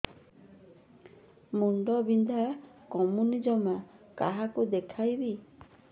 ମୁଣ୍ଡ ବିନ୍ଧା କମୁନି ଜମା କାହାକୁ ଦେଖେଇବି